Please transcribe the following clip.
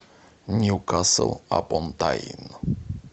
ньюкасл апон тайн